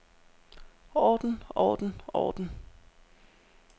orden orden orden